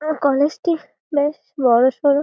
আর college টি বেশ বড়োসড়ো।